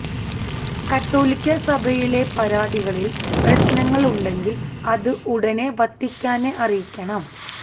കത്തോലിക്ക സഭയിലെ പരാതികളിൽ പ്രശ്നങ്ങൾ ഉണ്ടെങ്കിൽ അത് ഉടനെ വത്തിക്കാനെ അറിയിക്കണം